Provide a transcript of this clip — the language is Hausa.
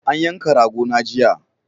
An yanka rago na jiya